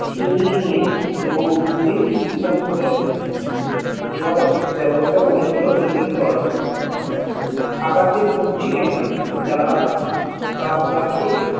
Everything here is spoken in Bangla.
ছিনিয়ে নিয়ে এবং দূরে তেপান্তরে দেওয়ার বেবস্তা করেছিল ইংরেজ সরকার আকাশের বুক চিরে তারা আজ রাতে